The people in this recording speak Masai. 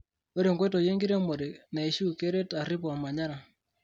Ore nkoitoi enkiremore naishu keret arip ormanyara.